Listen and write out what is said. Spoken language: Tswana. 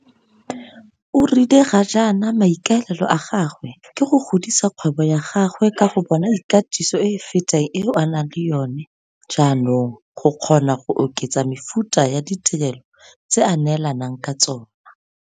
O rile ga jaana maikaelelo a gagwe ke go godisa kgwebo ya gagwe ka go bona ikatiso e e fetang eo a nang le yona jaanong go kgona go oketsa mefuta ya ditirelo tse a neelanang ka tsona.